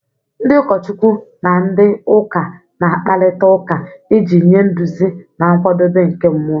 Ndị ụkọchukwu na ndị ụka na-akparịta ụka iji nye nduzi na nkwado nke mmụọ